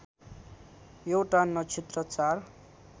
एउटा नक्षत्र चार